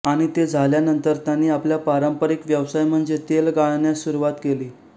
आणि ते झाल्यानंतर त्यांनी आपल्या पारंपारिक व्यवसाय म्हणजे तेल गाळण्यास सुरवात केली